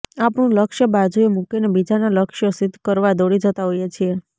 આપણું લક્ષ્ય બાજુએ મૂકીને બીજાનાં લક્ષ્યો સિદ્ધ કરવા દોડી જતા હોઈએ છીએ